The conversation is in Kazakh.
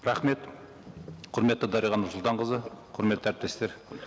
рахмет құрметті дариға нұрсұлтанқызы құрметті әріптестер